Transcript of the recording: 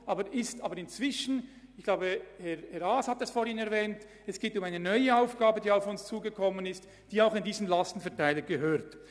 Insbesondere geht es jedoch um eine neue Aufgabe, die auf uns zugekommen ist, und die auch in diesen Lastenverteiler gehört.